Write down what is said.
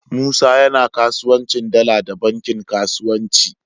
Musa yAna kasuwancin dala da bankin kasuwanci